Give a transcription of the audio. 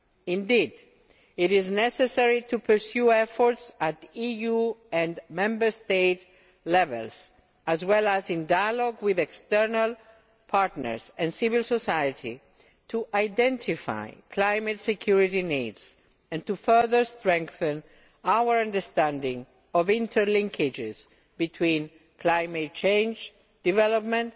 Indeed, it is necessary to pursue efforts at EU and Member State level, as well as in dialogue with external partners and civil society to identify climate security needs and to further strengthen our understanding of interlinkages between climate change development,